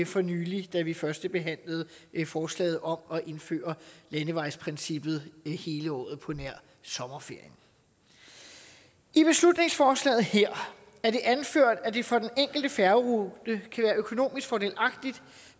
for nylig da vi førstebehandlede forslaget om at indføre landevejsprincippet hele året på nær i sommerferien i beslutningsforslaget her er det anført at det for den enkelte færgerute kan være økonomisk fordelagtigt